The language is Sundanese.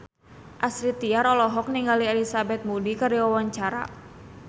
Astrid Tiar olohok ningali Elizabeth Moody keur diwawancara